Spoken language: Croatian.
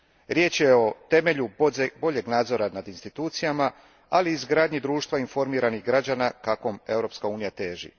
Riječ je o temelju boljeg nadzora nad institucijama, ali i izgradnji društva informiranih građana kakvom Europska unija teži.